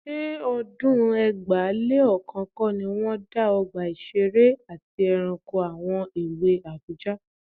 Ṣé ọdún ẹgbàá-lé-ọ̀kan kọ́ ni wọ́n dá Ọgbà Ìṣeré àti Ẹranko àwọn èwe Àbújá?